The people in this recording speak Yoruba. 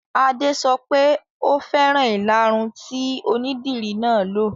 Adé sọ wípé "Ò fẹ́ràn ìlaru tí onídìri náà lo '.